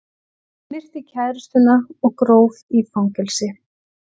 Myrti kærustuna og gróf í fangelsi